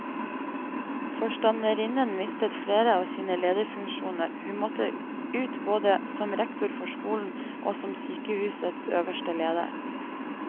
Forstanderinnen mistet flere av sine lederfunksjoner, hun måtte ut både som rektor for skolen og som sykehusets øverste leder.